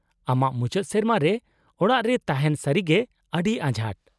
-ᱟᱢᱟᱜ ᱢᱩᱪᱟᱹᱫ ᱥᱮᱨᱢᱟ ᱨᱮ ᱚᱲᱟᱜ ᱨᱮ ᱛᱟᱦᱮᱱ ᱥᱟᱹᱨᱤᱜᱮ ᱟᱹᱰᱤ ᱟᱸᱡᱷᱟᱴ ᱾